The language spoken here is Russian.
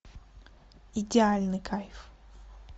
идеальный кайф